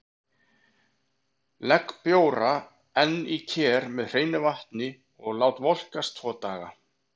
Legg bjóra enn í ker með hreinu vatni og lát volkast tvo daga.